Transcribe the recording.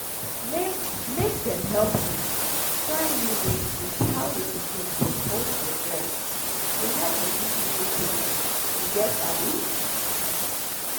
make make dem help you trynew way with how your pikin suppose hold your breast go help reduce nipple pain you get abi um